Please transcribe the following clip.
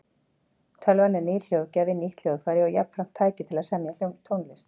Tölvan er nýr hljóðgjafi, nýtt hljóðfæri og jafnframt tæki til að semja tónlist.